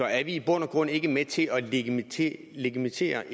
er vi i bund og grund ikke med til at legitimere legitimere